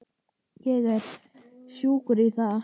Ég er sjúkur í það!